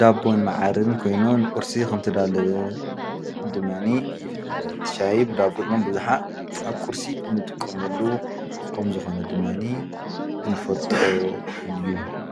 ዳቦን መዓርን ኮይኑ ንቁርሲ ከም ዝተዳለወ ድማኒ ይፍለጥ ትሻሂ ብ ዳቦ ኣብዝሓ ኣብ ቁርሲ እንጥቀመሉ ከም ዝኮነ ድማኒ እንፈልጦ እዩ::